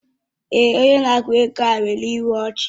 Èè, onye na-akwụ ego ahụ nwere ịhụ ọchi